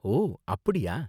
ஓ அப்படியா.